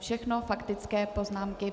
Všechno faktické poznámky.